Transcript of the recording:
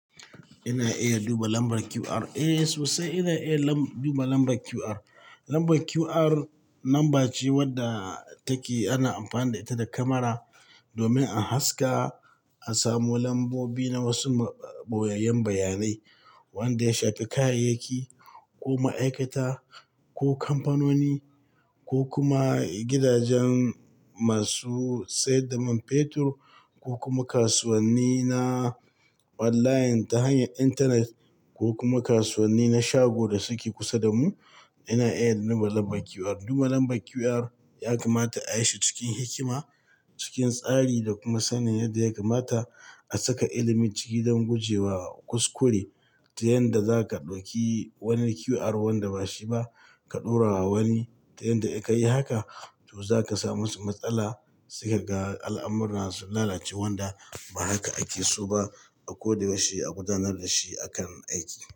Ina iya duba lambar QR? Eh sosai ina iya duba lambar QR. Lambar QR lamba ce wadda take ana amfani da ita da kamara domin a haska a samu lambobi na wasu ɓoyayyen bayanai wanda ya shafi kayayyaki ko ma'aikata ko kamfanoni ko kuma gidajen masu sayar da man fetur ko kuma kasuwanni na online ta hanyar intanet ko kuma kasuwanni na shago da suke kusa da mu. Ina iya duba lambar QR. Duba lambar QR ya kamata ayi shi cikin hikima, cikin tsari da kuma sanin yadda ya kamata a saka ilimi ciki don gujewa kuskure ta yanda zaka ɗauki wani QR wanda bashi ba ka ɗora wa wani. Ta yanda idan ka yi haka, to za ka samu matsala sai ka ga al'amurra suna lalacewa wanda ba haka ake so ba. A ko da yaushe a gudanar da shi akan aiki.